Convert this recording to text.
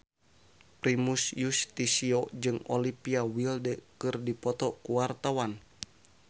Primus Yustisio jeung Olivia Wilde keur dipoto ku wartawan